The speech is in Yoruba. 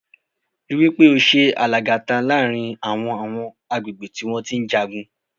Rí wí pé o ṣe alàgàta láàrin àwọn àwọn agbègbè tí wọ́n ń jagun.